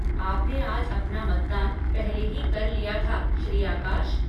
आपने आज अपना मतदान पहले ही कर लिया था श्री आकाश।